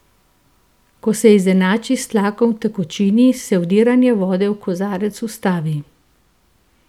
Ko se izenači s tlakom v tekočini, se vdiranje vode v kozarec ustavi.